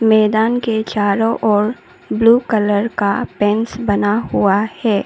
मैदान के चारों ओर ब्लू कलर का फेंस बना हुआ है।